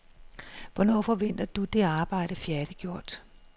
Hvornår forventer du det arbejde færdiggjort?